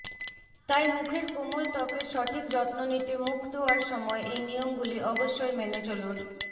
তাই মুখের কোমল ত্বকের সঠিক যত্ন নিতে মুখ ধোওয়ার সময় এই নিয়মগুলি অবশ্যই মেনে চলুন